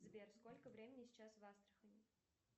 сбер сколько времени сейчас в астрахани